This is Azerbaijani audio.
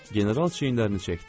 General çiyinlərini çəkdi.